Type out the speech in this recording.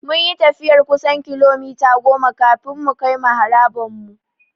Mun yi tafiyar kusan kilomita goma kafin mukai maharaban mu.